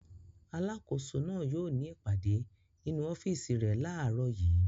Alákòóso náà yóò ní ìpàdé nínú ọ́fíísì rẹ̀ láàárọ̀ yìí.